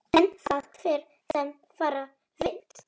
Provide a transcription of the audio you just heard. En það fer sem fara vill.